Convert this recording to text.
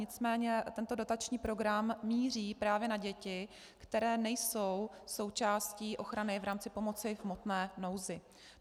Nicméně tento dotační program míří právě na děti, které nejsou součástí ochrany v rámci pomoci v hmotné nouzi.